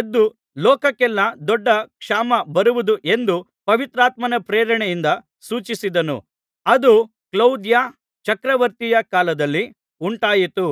ಎದ್ದು ಲೋಕಕ್ಕೆಲ್ಲಾ ದೊಡ್ಡ ಕ್ಷಾಮ ಬರುವುದು ಎಂದು ಪವಿತ್ರಾತ್ಮನ ಪ್ರೇರಣೆಯಿಂದ ಸೂಚಿಸಿದನು ಅದು ಕ್ಲೌದ್ಯ ಚಕ್ರವರ್ತಿಯ ಕಾಲದಲ್ಲಿ ಉಂಟಾಯಿತು